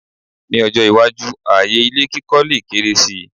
Ní ọjọ́-iwájú, ààyè ilé kíkọ́ lè kéré si.